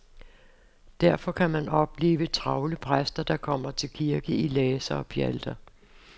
Derfor kan man opleve travle præster, der kommer til kirke i laser og pjalter.